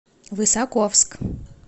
высоковск